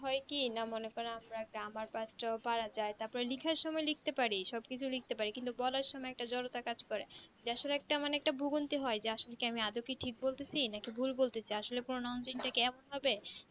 হয় কি না মনে করেন আমরা grammar পাস টাও পারা যাই তারপরে লিখার সময় লিখতে পারি সবকিছু লিখতে পারি কিন্তু বলার সময় একটা জড়তা কাজ করে জা আসলে একটা মানে ভুবনয়ী হয় যা আসলে মানে আমি যায় কি ঠিক বলতাছি না কি ভুল বলতেছি আসলে pronouncing টাকে এমন ভাবে